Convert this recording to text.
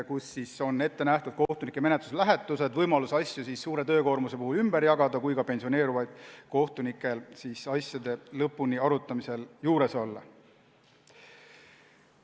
Selles on ette nähtud kohtunike menetluslähetused, et suure töökoormuse korral oleks võimalus asju ümber jagada ja pensioneeruvad kohtunikud saaksid asjade arutamisel lõpuni juures olla.